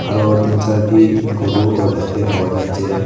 আরও তিন চারটি গরুও দেখতে পাওয়া যাচ্ছে।